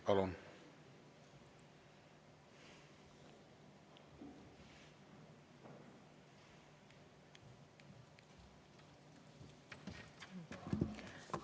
Palun!